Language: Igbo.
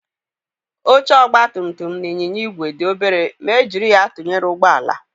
Oche ọgbatumtum na ịnyịnya igwe dị obere ma e jiri ya tụnyere ụgbọala